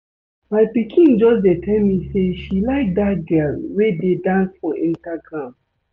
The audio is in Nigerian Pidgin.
My pikin just dey tell me say she like dat girl wey dey dance for Instagram